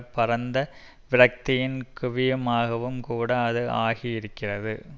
பரந்த விரக்தியின் குவிமையமாகவும் கூட அது ஆகி இருக்கிறது